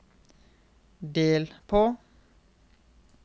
del på